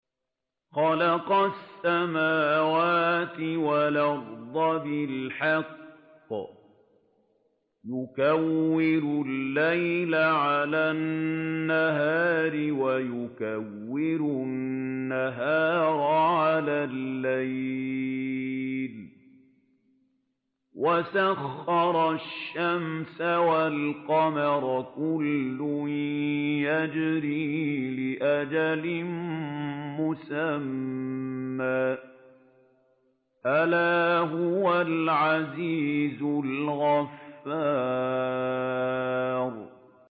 خَلَقَ السَّمَاوَاتِ وَالْأَرْضَ بِالْحَقِّ ۖ يُكَوِّرُ اللَّيْلَ عَلَى النَّهَارِ وَيُكَوِّرُ النَّهَارَ عَلَى اللَّيْلِ ۖ وَسَخَّرَ الشَّمْسَ وَالْقَمَرَ ۖ كُلٌّ يَجْرِي لِأَجَلٍ مُّسَمًّى ۗ أَلَا هُوَ الْعَزِيزُ الْغَفَّارُ